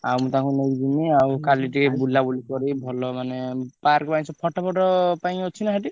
ଆଉ ମୁଁ ତାଙ୍କୁ ନେଇକି ଯିମି ଆଉ କାଲି ଟିକେ ବୁଲାବୁଲି କରି ଭଲ ମାନେ park ପାଇଁ photo photo ପାଇଁ ଅଛି ନା ସେଠି?